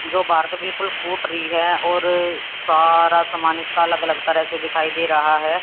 जो बाहर ते बिल्कुल फुट रही है और सारा समान इसका अलग अलग तरह से दिखाई दे रहा है।